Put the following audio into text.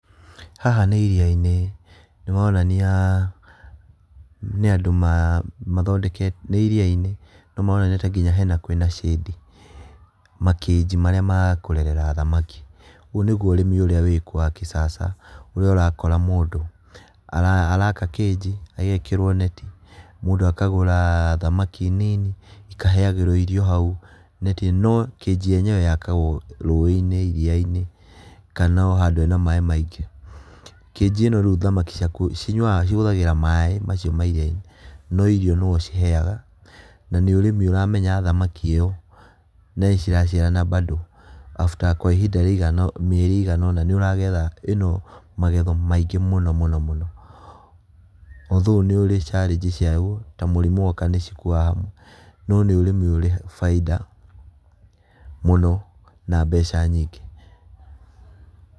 Haha nĩ iria-inĩ maronania nĩ andũ ma mathondekete, nĩ iria-inĩ no maronania ta nginya hena kwĩna shade, ma cage marĩa ma kũrerera thamaki, ũyũ nĩguo ũrĩmi ũrĩa wĩkuo wa kisasa ũrĩa ũrakora mũndũ araka cage ĩgekĩrwo neti, mũndũ akagũra thamaki nini ikaheagĩrwo irio hau, no kĩnji yenyewe yakagwo rũĩ-inĩ iria-inĩ kana handũ hena maĩ maingĩ, cage ĩno rĩu thamaki ciaku cinyuaga cihũthagĩra maĩ macio ma iria-inĩ, no irio nĩwe ũciheaga na nĩ ũrĩmi ũramenya thamaki ĩyo na nĩciraciarana bado after kwa ihinda rĩaiganona mĩeri iganona, nĩũragetha ĩno magetho maingĩ mũno mũno mũno, although nĩũrĩ challenge ciayo, ta mũrimũ woka nĩcikuaga no nĩ ũrĩmi ũrĩ baida mũno na mbeca nyingĩ.